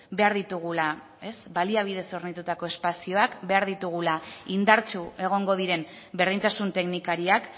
behar ditugula baliabidez hornitutako espazioak behar ditugula indartsu egongo diren berdintasun teknikariak